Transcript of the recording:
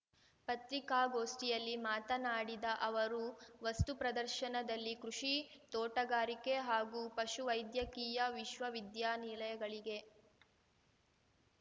ಪತ್ರಿಕಾಗೋಷ್ಠಿಯಲ್ಲಿ ಮಾತನಾಡಿದ ಅವರು ವಸ್ತುಪ್ರದರ್ಶನದಲ್ಲಿ ಕೃಷಿ ತೋಟಗಾರಿಕೆ ಹಾಗೂ ಪಶುವೈದ್ಯಕೀಯ ವಿಶ್ವ ವಿದ್ಯಾನಿಲಯಗಳಿಗೆ